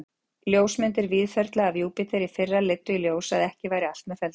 Ljósmyndir Víðförla af Júpíter í fyrra leiddu í ljós, að ekki væri allt með felldu.